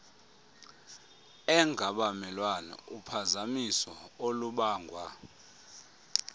engabamelwane uphazamiso olubangwa